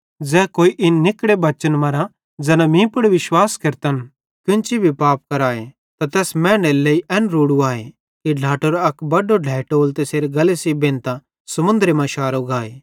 ज़ै कोई इन निकड़े बच्चन मरां ज़ैना मीं पुड़ विश्वास केरतन केन्ची भी पाप करवाए त तैस मैनेरे लेइ एन रोड़ू आए कि ढ्लाटेरो अक बड्डो ढ्लेइटोल तैसेरे गल्ले सेइं बेंधतां समुन्द्रे मां शारो गाए